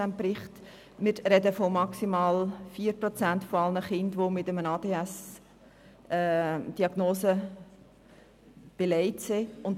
Wir sprechen von maximal 4 Prozent aller Kinder, die eine ADHS-Diagnose haben.